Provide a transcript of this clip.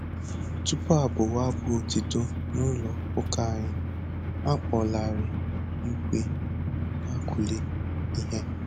Tupu a bụwa abụ otito n'ụlọ ụka anyị, a kpọlarị igwe na-akụri ihe